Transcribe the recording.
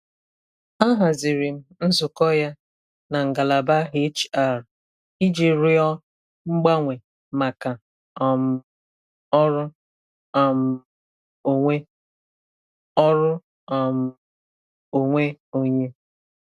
A haziri m nzukọ ya na ngalaba HR iji rịọ mgbanwe maka um ọrụ um onwe ọrụ um onwe onye.